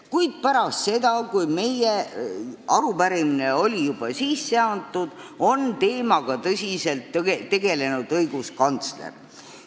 Kuid pärast seda, kui meie arupärimine oli juba üle antud, on teemaga tõsiselt tegelenud õiguskantsler.